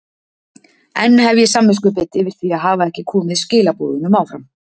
Enn hef ég samviskubit yfir því að hafa ekki komið skilaboðunum áfram.